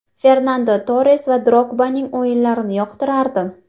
Fernando Torres va Drogbaning o‘yinlarini yoqtirardim.